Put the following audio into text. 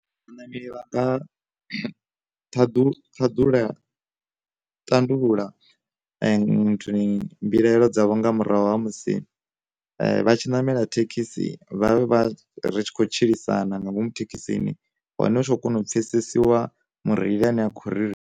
Vha ṋameli vha nga ṱhaḓu ṱhaḓula tandulula nnthuni mbilaelo dza vho nga murahu ha musi vha tshi namela thekhisi vha vha ri tshi khou tshilisana nga ngomu thekhisini hone hutshiḓo kona u pfesesa lwa mureili ane a khori.